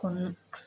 Kɔnɔ